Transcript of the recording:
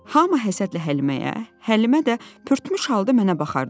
Hamı həsədlə Həliməyə, Həlimə də pörtmüş halda mənə baxardı.